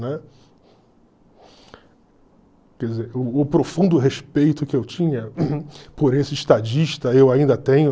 Quer dizer, o o profundo respeito que eu tinha por esse estadista, eu ainda tenho.